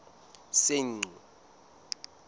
senqu